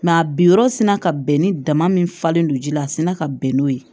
a bi yɔrɔ sina ka bɛn ni dama min falen don ji la a sina ka bɛn n'o ye